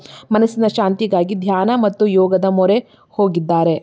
ಮನಸ್ಸಿನ ಶಾಂತಿಗಾಗಿ ಧ್ಯಾನ ಮತ್ತು ಯೋಗದ ಮೊರೆ ಹೋಗಿದ್ದಾರೆ.